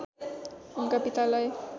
उनका पितालाई